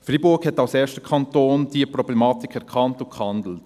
Freiburg hat diese Problematik als erster Kanton erkannt und hat gehandelt.